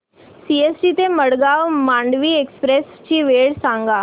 CST ते Madgaon Mandovi express ची वेळ सांगा